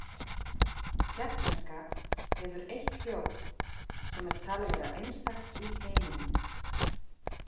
Tékkneska hefur eitt hljóð sem er talið vera einstakt í heiminum.